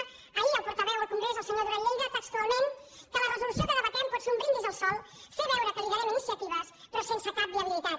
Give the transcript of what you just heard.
o ahir el portaveu al congrés el senyor duran lleida textualment que la resolució que debatem pot ser un brindis al sol fer veure que liderem iniciatives però sense cap viabilitat